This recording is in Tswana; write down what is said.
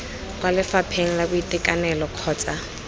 kwa lefapheng la boitekanelo kgotsa